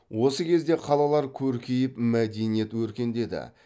осы кезде қалалар көркейіп мәдениет өркендеді